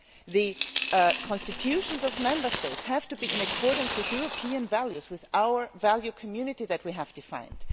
The constitutions of Member States have to be in accordance with European values, with our value community which we have defined.